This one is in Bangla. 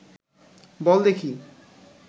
বল দেখি